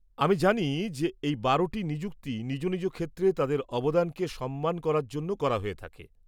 আমি জানি যে এই বারোটি নিযুক্তি নিজ নিজ ক্ষেত্রে তাদের অবদানকে সম্মান করার জন্য করা হয়ে থাকে।